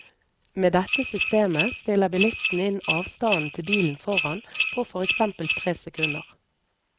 Med dette systemet stiller bilisten inn avstanden til bilen foran på for eksempel tre sekunder.